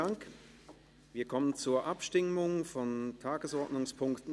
Wir kommen zur Abstimmung über den Tagesordnungspunkt 29.